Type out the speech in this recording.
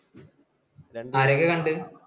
ആരെയൊക്കെ കണ്ടു?